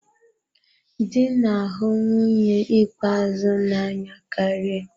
Dị na-ahụ nwunye ikpeazụ n'anya karị.